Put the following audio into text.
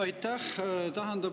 Aitäh!